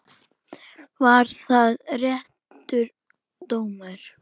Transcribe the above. Var það réttur dómur?